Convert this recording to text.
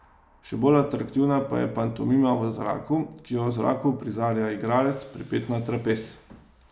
Še bolj atraktivna pa je Pantomima v zraku, ki jo v zraku uprizarja igralec, pripet na trapez.